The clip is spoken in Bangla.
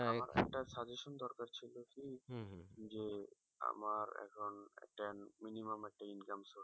আমার একটা suggestion দরকার ছিল কি যে আমার এখন একটা minimum একটা income source